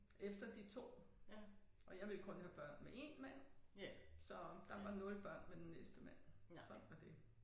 Efter de 2 og jeg ville kun have børn med én mand så der var 0 børn med den næste mand. Sådan er det